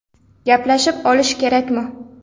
Gaplashib olish kerakmi?